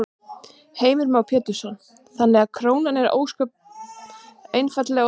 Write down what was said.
Heimir Már Pétursson: Þannig að krónan er ósköp einfaldlega of dýr?